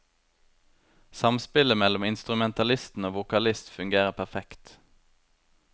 Samspillet mellom instrumentalistene og vokalist fungerer perfekt.